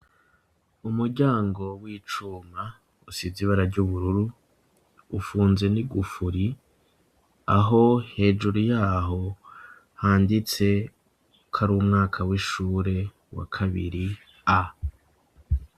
umuryango w'icuma usize ibara ry'ubururu ufunze n'igufuri aho hejuru yaho handitse ko ari umwaka w'ishure wa kabiri a